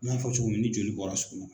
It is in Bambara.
I n'a fɔ cogo min ni joli bɔra sugunɛ